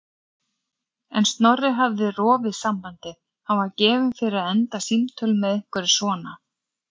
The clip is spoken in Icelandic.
En Snorri hafði rofið sambandið, hann var gefinn fyrir að enda símtöl með einhverju svona.